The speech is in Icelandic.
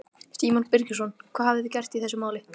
Símon Birgisson: Hvað hafið þið gert í þessum máli?